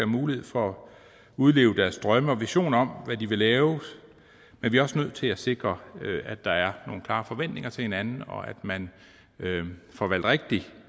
mulighed for at udleve deres drømme og visioner om hvad de vil lave men vi er også nødt til at sikre at der er nogle klare forventninger til hinanden og at man får valgt rigtigt